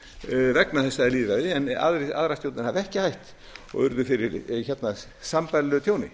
framkvæmdastjórinn vegna þessa lýðræðis en aðrar stjórnir hafa ekki hætt og urðu fyrri sambærilegu tjóni